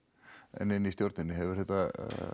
en inni í stjórninni hefur þetta